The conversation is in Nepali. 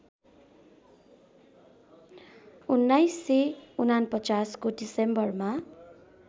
१९४९ को डिसेम्बरमा